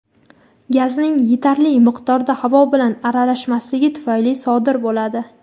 gazning yetarli miqdorda havo bilan aralashmasligi tufayli sodir bo‘ladi.